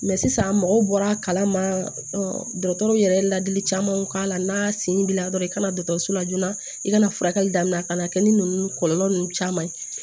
sisan mɔgɔw bɔra ma dɔgɔtɔrɔw yɛrɛ ye ladili camanw k'a la n'a sen binna dɔrɔn i kana dɔgɔtɔrɔso la joona i kana furakɛli daminɛ a kana kɛ ni kɔlɔlɔ ninnu caman ye